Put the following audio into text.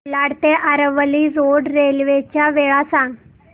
कोलाड ते Aravali road railway च्या वेळा सांग